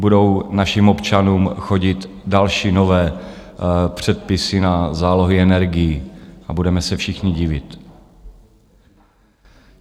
Budou našim občanům chodit další nové předpisy na zálohy energií a budeme se všichni divit.